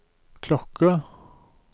klokke